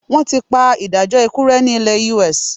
Wọ́n ti pa ìdájọ́ ikú rẹ́ ní ilẹ US.